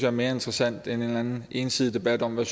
er mere interessant end en eller anden ensidig debat om hvad